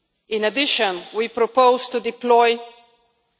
In addition, we propose to deploy a EUR